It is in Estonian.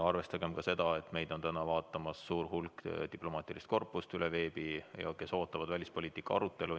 Arvestagem ka seda, et meid vaatab täna veebi kaudu suur hulk diplomaatilise korpuse inimesi, kes kõik ootavad välispoliitika arutelu.